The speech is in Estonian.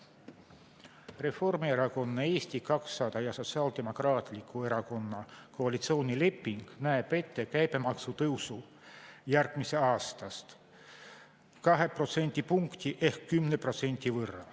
Reformierakonna, Eesti 200 ja Sotsiaaldemokraatliku Erakonna koalitsioonileping näeb ette käibemaksu tõusu järgmisest aastast 2 protsendipunkti võrra ehk 10%.